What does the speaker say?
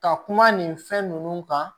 Ka kuma nin fɛn ninnu kan